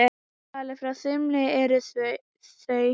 Talið frá þumli eru þau